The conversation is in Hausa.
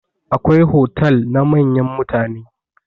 Akwai hotal na manyan mutane.